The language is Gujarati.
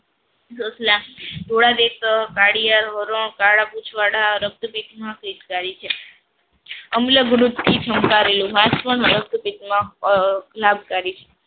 ધોળા દેશ કાળિયાર હરણ કાળા પૂછવાડા રક્તપિતમાં છે. આમલા કરેલું રક્તપીતમાં લાભકારી છે.